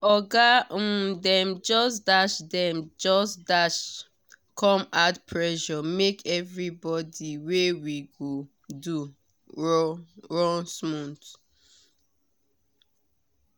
oga um dem just dash dem just dash come add pressure make everybody wey we go do